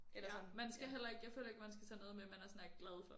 Ja man skal heller ikke jeg føler ikke man skal tage noget med man er sådan er glad for